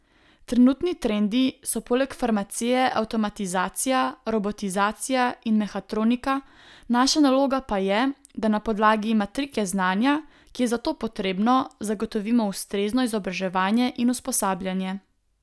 Trenutni trendi so poleg farmacije avtomatizacija, robotizacija in mehatronika, naša naloga pa je, da na podlagi matrike znanja, ki je za to potrebno, zagotovimo ustrezno izobraževanje in usposabljanje.